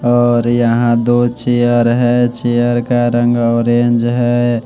और यहां दो चेयर है चेयर का रंग ऑरेंज है।